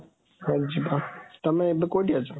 ହଁ, ତମେ ଏବେ କୋଉଠି ଅଛ?